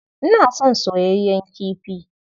Ina son soyayyen kifi.